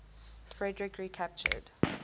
frederik recaptured